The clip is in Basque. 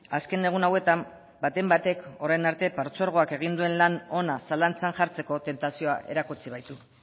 azken egun hauetan baten batek orain arte partzuergoak egin duen lan ona zalantzan jartzeko tentazioa erakutsi baitu